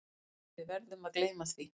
En við verðum að gleyma því.